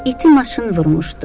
İti maşın vurmuşdu.